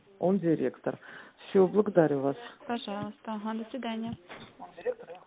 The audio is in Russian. он директор все благодарю вас пожалуйста угу до свидания